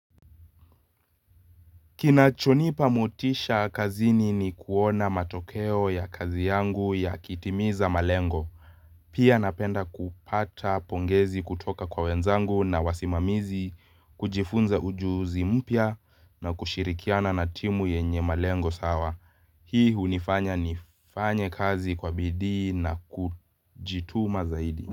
Kinachonipa motisha kazini ni kuona matokeo ya kazi yangu yakitimiza malengo. Pia napenda kupata pongezi kutoka kwa wenzangu na wasimamizi kujifunza ujuzi mpya na kushirikiana na timu yenye malengo sawa. Hii hunifanya nifanye kazi kwa bidii na kujituma zaidi.